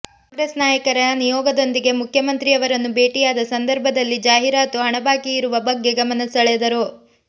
ಕಾಂಗ್ರೆಸ್ ನಾಯಕರ ನಿಯೋಗದೊಂದಿಗೆ ಮುಖ್ಯಮಂತ್ರಿ ಅವರನ್ನು ಭೇಟಿಯಾದ ಸಂದರ್ಭದಲ್ಲಿ ಜಾಹಿರಾತು ಹಣ ಬಾಕಿ ಇರುವ ಬಗ್ಗೆ ಗಮನ ಸೆಳೆದರು